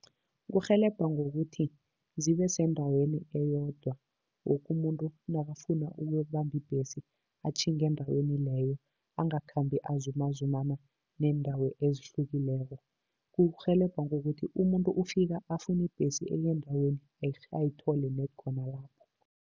Kurhelebha ngokuthi zibe sendaweni eyodwa, woke umuntu nakafuna ukuyokubamba ibhesi, atjhinge endaweni leyo, angakhambi azumazumana neendawo ezihlukileko. Kurhelebha ngokuthi umuntu ufika afune ibhesi engendaweni ererhe, ayithole ned khona lapho.